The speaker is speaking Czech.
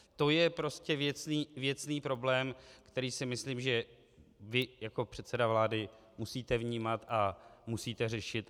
To je prostě věcný problém, který si myslím, že vy jako předseda vlády musíte vnímat a musíte řešit.